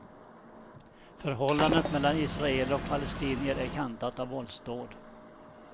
Förhållandet mellan israeler och palestinier är kantat av våldsdåd.